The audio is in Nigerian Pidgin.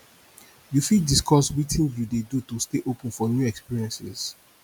you fit discuss witin you dey do to stay open for new experiences